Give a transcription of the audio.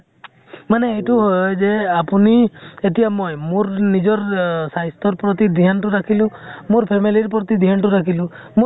মানে এইটো হয় যে আপুনি, এতিয়া মই, মোৰ নিজৰ স্বাস্থ্য়ৰ প্ৰতি ধ্য়ান তো ৰাখিলো । মোৰ family ৰ প্ৰতি ধ্য়ান তো ৰাখিলো । মোৰ